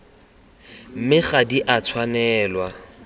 mme ga di a tshwanelwa